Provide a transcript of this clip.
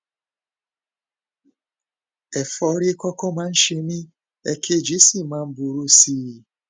ẹfọrí kọkọ máa ń ṣe mí èkejì sì máa ń burú sí i